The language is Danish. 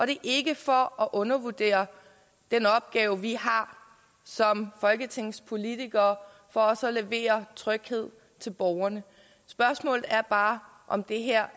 det er ikke for at undervurdere den opgave vi har som folketingspolitikere for også at levere tryghed til borgerne spørgsmålet er bare om det her